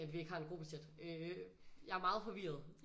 At vi ikke har en gruppechat øh jeg er meget forvirret